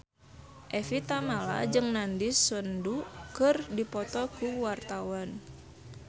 Evie Tamala jeung Nandish Sandhu keur dipoto ku wartawan